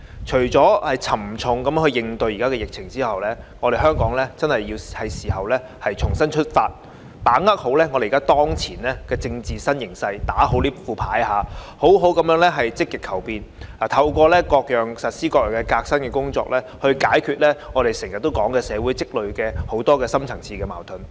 除了沉着應對疫情外，香港是時候重新出發，把握好當前的政治新形勢，所謂"打好這副牌"，好好地積極求變，透過實施各樣革新的工作，解決我們經常提到的社會積累的深層次矛盾。